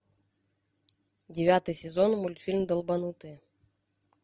девятый сезон мультфильм долбанутые